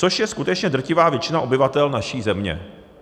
Což je skutečně drtivá většina obyvatel naší země.